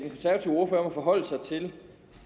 forholde sig til